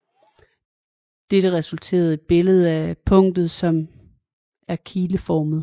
Dette resulterer et billede af punktet som er kileformet